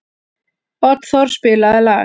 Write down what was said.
Oddþór, spilaðu lag.